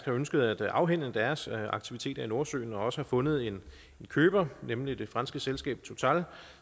har ønsket at afhænde deres aktiviteter i nordsøen og også har fundet en køber nemlig det franske selskab total